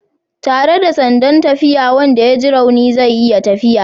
Tare da sandan tafiya wanda ya ji rauni zai iya tafiya